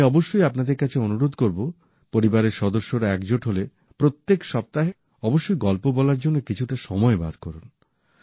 আমি অবশ্যই আপনাদের কাছে অনুরোধ করবো পরিবারের সদস্যরা একজোট হলে অবশ্যই গল্প বলার জন্য কিছুটা সময় বার করুন